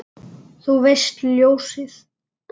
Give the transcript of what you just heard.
Þú veist, ljósið